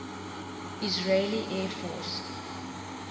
israeli air force